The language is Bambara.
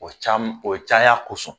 O cam o caya kosɔn